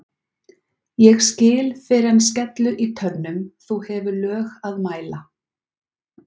ég skil fyrr en skellur í tönnum þú hefur lög að mæla